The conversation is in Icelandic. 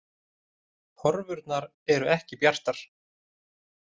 Horfurnar eru ekki bjartar